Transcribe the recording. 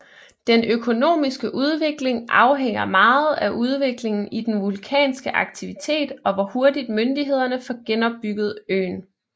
Den økonomiske udvikling afhænger meget af udviklingen i den vulkanske aktivitet og hvor hurtig myndighederne får genopbygget øen